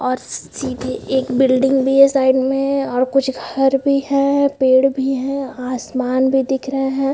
और सीधी एक बिल्डिंग भी है साइड में और कुछ घर भी हैं पेड़ भी हैं आसमान भी दिख रहा है।